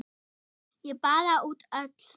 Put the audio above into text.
Ég baða út öll